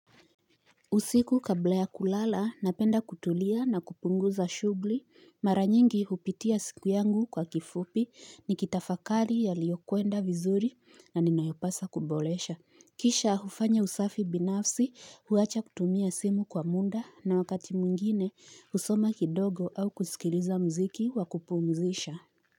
Usiku kabla ya kulala napenda kutulia na kupunguza shughli mara nyingi hupitia siku yangu kwa kifupi ni kitafakari yaliyokwenda vizuri na ninayopaswa kuboresha Kisha hufanya usafi binafsi huacha kutumia simu kwa munda na wakati mwingine husoma kidogo au kusikiliza mziki wakupumzisha.